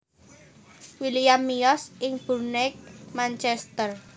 William miyos ing Burnage Manchester